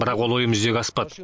бірақ ол ойым жүзеге аспады